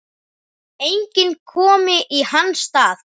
Enginn komi í hans stað.